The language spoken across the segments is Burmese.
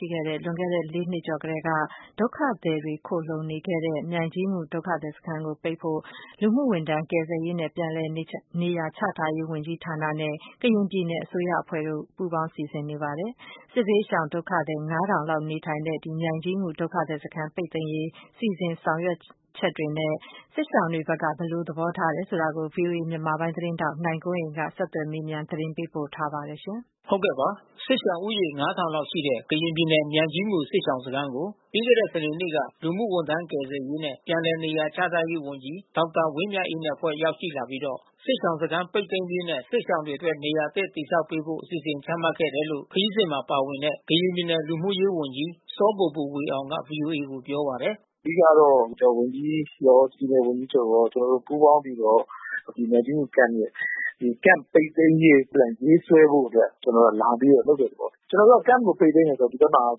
ှိခဲ့တဲ့ လွန်ခဲ့တဲ့ ၄ နှစ် ကျော်ကတည်းက ဒုက္ခသည်တွေ တိမ်းရှောင်ခိုလှုံနေတဲ့ မြိုင်ကြီးငူဒုက္ခသည် စခန်းကို ပိတ်သိမ်းဖို့ လူမှုဝန်ထမ်း ကယ်ဆယ်ရေးနဲ့ပြန်လည်နေရာ ချထားရေး ဝန်ကြီး ဌာနနဲ့ ကရင်ပြည်နယ်အစိုးရ အဖွဲ့တို့ က စီစဉ်နေပါတယ်။ စစ်ရှောင် ၅၀၀၀ လောက် နေထိုင်ရာ မြိုင်ကြီးငူဒုက္ခသည် စခန်းကို ပိတ်သိမ်းဖို့ ဘယ်လို လုပ်ဆောင်နေတယ် ဆိုတာနဲ့ စစ်ရှောင်တွေ ဘက်က ဘယ်လို သဘောထားတယ် ဆိုတာကို ဗွီအိုအေမြန်မာပိုင်းသတင်းထောက် နိုင်ကွန်းအိန်ကနေ ဆက်သွယ်မေးမြန်း သတင်းပေးပို့ ထားပါတယ်။ စစ်ရှောင်ဦးရေ လောက် ရှိတဲ့ကရင်ပြည်နယ်၊ မြိုင်ကြီးငူစစ်ရှောင်စခန်းကို ပြီးခဲ့တဲ့စနေနေ့က လူမှုဝန် ထမ်း ကယ်ဆယ်ရေးနဲ့ပြန်လည်နေရာချထားရေး ဝန်ကြီးဒေါက်တာ ဝင်းမြတ်အေးနဲ့ အဖွဲ့ရောက်ရှိလာပြီးတော့ စစ်ရှောင် စခန်းပိတ်သိမ်းရေး နဲ့စစ်ရှောင်တွေအတွက်နေရာ အသစ်တည်ဆောက်ပေးဖို့ အစီစဉ်ချမှတ်ခဲ့တယ်လို့ ခရီးစဉ်မှာ ပါဝင်တဲ့ ကရင်ပြည်နယ်လူမှုရေး ဝန်ကြီးစောဘိုဘိုဝေအောင်က ဗွီအိုအေကိုပြောပါတယ်။ “အဓိကတော့ လူကယ်ကယ်ပြန်ဝန်ကြီးရော၊ပြည်နယ်ဝန်ကြီးချုပ်ရော ကျွန်တော်တို့ ပူးပေါင်းပြီးတော့ ဒီမြိုင်ကြီးငူ Camp ရဲ့ ဒီ Camp ပိတ်သိမ်းရေးအတွက် ရေးဆွဲဖို့အတွက် ကျွန်တော်တို့က လာပြီးတော့ လုပ်တဲ့သဘော။ ကျွန်တော် တို့က Camp ပိတ်သိမ်း တယ်ဆိုတာ၊ ဒီဘ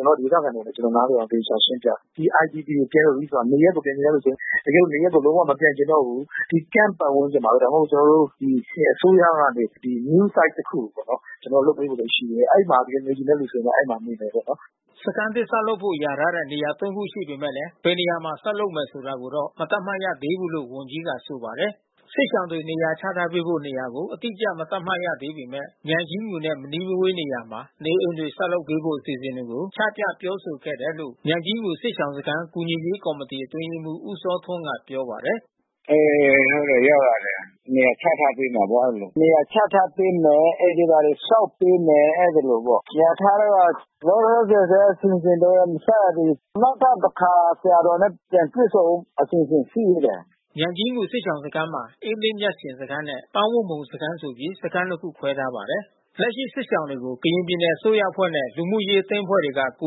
က်မှာဒေသခံတွေနဲ့ကျွန်တော်တို့ နားလည်အောင် သေချာရှင်းပြတယ်။ ဒီIDP Camp မှာ နေရပ်ကိုပြန်ချင်တဲ့သူပြန်။ တကယ်လို့နေရပ်ကို မပြန်ချင်တော့ဘူး ဒီCamp ပတ်ဝန်းကျင်မှာဘဲ ဒါမှမဟုတ် ကျွန်တော်တို့ အစိုး၇ကနေ နေရာအသစ် တခုကိုပေါ့နော် ကျွန်တော်တို့ လုပ်ပေးဖို့ရှိတယ်။ အဲဒီမှာနေချင်တဲ့ သူ ကျတော့ အဲဒီမှာနေပေါ့။” စခန်းသစ် ဆောက်ဖို့လျာထားတဲ့ နေရာ ခုရှိနေ ပေမဲ့ ဘယ်နေရာမှာ ဆောက်လုပ်မယ်ဆိုတာ ကိုတော့ မသတ်မှတ်ရသေးဘူး လို့ ဝန်ကြီးကဆိုပါတယ်။ စစ်ရှောင်တွေနေရာချထားပေး ဖို့ နေရာကို အတိအကျ မသတ်မှတ်ရသေးပေမဲ့ မြိုင်ကြီးငူနဲ့ မနီးမဝေးနေရာမှာ နေအိမ် တွေ ဆောက်လုပ်ပေးဖို့ အစီအစဉ်တွေကို ချပြပြောဆိုခဲ့တယ်လို့ မြိုင်ကြီးငူ စစ်ရှောင်စခန်း ကူညီရေးကော်မီတီ အတွင်း ရေး မှူး ဦးစောထွန်းကပြောပါတယ်။ “အေး ဟုတ်တယ်ရောက်လာတယ်။ နေရာချထားပေးမယ်ပေါ့ အဲဒီလို။ အိမ်တွေဘာတွေ ဆောက် ပေးမယ်။ အဲဒီလိုပေါ့။ လျာထားတာက လောလောဆယ်တော့ အစီစဉ်တော့ မစရသေးဘူး။ နောက်ထပ်တခါ ဆရာတော်နဲ့ တွေ့ဆုံဖို့ အစီစဉ် ရှိသေးတယ်။” မြိုင်ကြီးငူစစ်ရှောင်စခန်းမှာ အေးလင်းမြတ်ရှင်စခန်းနဲ့ ပန်းဝတ်မှုံစခန်းဆိုပြီး စခန်းနှစ်ခုခွဲထားပါတယ်။ လက်ရှိစစ်ရှောင်တွေကို ကရင်ပြည်နယ်အစိုးရအဖွဲ့နဲ့ လူမှုရေးအသင်းအဖွဲ့တွေက ကူ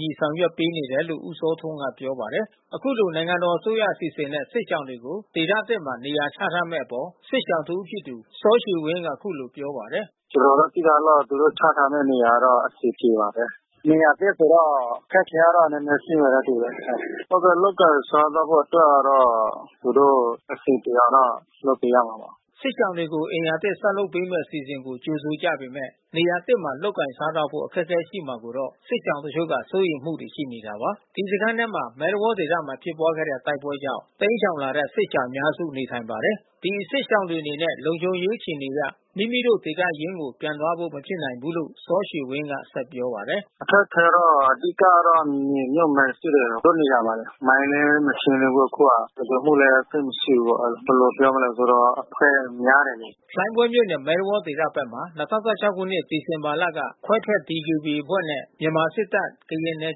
ညီဆောင်ရွက် ပေးနေ တယ်လို့ ဦးစောထွန်းကပြောပါတယ်။ အခုလိုနိုင်ငံတော်အစိုးရအစီစဉ်နဲ့ စစ်ရှောင်တွေကိုဒေသသစ်မှာနေရာချထားမဲ့အပေါ် စစ်ရှောင်တဦး ဖြစ်တဲ့ စောရွှေ ဝင်းကအခုလိုပြောပါတယ်။ “ကျွန်တော်တို့သိထားသလောက် သူတို့ ချထားပေးမယ့် နေရာက အဆင်ပြေပါတယ်။ နေရာသစ်ဆိုတော့ အခက်ခဲတော့ နည်းနည်းရှိမယ်နဲ့ တူတယ်။ လုပ်ကိုင်စားသောက်ဖို့ အတွက်ကတော့ သူတို့အဆင်ပြေအောင်တော့ လုပ်ပေးရမှာပေါ့။” စစ်ရှောင်တွေကို အိမ်ယာသစ် ဆောက်လုပ်ပေးမဲ့ အစီစဉ် ကို ကြိုဆို ကြ ပေမဲ့ နေရာသစ်မှာ လုပ်ကိုင်စားသောက်ဖို့ အခက်ခဲရှိမှာကိုတော့ စစ်ရှောင်တချို့က စိုးရိမ်မှုတွေရှိနေတာပါ။ ဒီစခန်းထဲမှာ မဲသဝေါဒေသမှာဖြစ်ပွားခဲ့တဲ့ တိုက်ပွဲတွေကြောင့် တိမ်းရှောင်လာတဲ့ စစ်ရှောင်အများစု နေထိုင်ကြပါတယ်။ ဒီ စစ်ရှောင်တွေအနေနဲ့ လုံခြုံရေးအခြေအနေအရ မိမိတို့ ဒေသရင်းကို ပြန်သွားဖို့မဖြစ်နိုင်ဘူးလို့လည်း စောရွှေဝင်းက ပြောပါတယ်။ “အခက်ခဲကတော့ အဓိကကတော့ မြေမြုပ်မိုင်းရှိတယ် တို့နေရာမှာလေ။ မိုင်းလဲ မရှင်းသေးဘူး အခုက။ လုံခြုံမှုလဲ သိပ်မရှိဘူး။ ဘယ်လိုပြောမလဲ အဖွဲ့များတယ်လေ။ ” လှိုင်းဘွဲမြို့နယ် ၊ မဲသဝေါဒေသ ဘက်မှာ ၂၀၁၆ ခုနှစ် စက်တင်ဘာလက ခွဲထွက် DKBA အဖွဲ့နဲ့ မြန်မာစစ်တပ်၊ ကရင် နယ်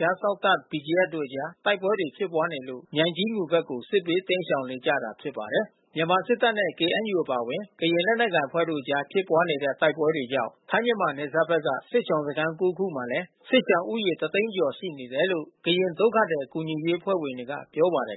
ခြားစောင့် တပ် BGF တို့အကြား တိုက်ပွဲတွေ ဖြစ်နေလို့ မြိုင်ကြီးငူဘက်ကို စစ်ဘေးတိမ်းရှောင်လာနေကြ တာ ဖြစ်ပါတယ်။ မြန်မာစစ်တပ်နဲ့ KNUအပါဝင် ကရင်လက်နက်ကိုင်အဖွဲ့ တို့အကြားဖြစ်ပွားခဲ့တဲ့ တိုက်ပွဲတွေကြောင့် ထိုင်းမြန်မာနယ် စပ်ဘက်က စစ်ရှောင်စခန်း ခုမှာလဲ စစ်ရှောင်ဦးရေတသိန်းကျော်ရှိနေတယ်လို့ ကရင်ဒုက္ခသည်ကူညီရေး အဖွဲ့ က ပြောပါတယ်